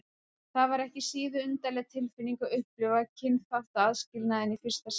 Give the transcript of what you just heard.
Það var ekki síður undarleg tilfinning að upplifa kynþáttaaðskilnaðinn í fyrsta sinn.